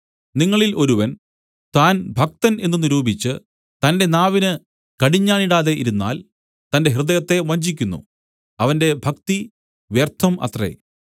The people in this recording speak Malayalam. നിങ്ങളിൽ ഒരുവൻ താൻ ഭക്തൻ എന്ന് നിരൂപിച്ച് തന്റെ നാവിന് കടിഞ്ഞാണിടാതെ ഇരുന്നാൽ തന്റെ ഹൃദയത്തെ വഞ്ചിക്കുന്നു അവന്റെ ഭക്തി വ്യർത്ഥം അത്രേ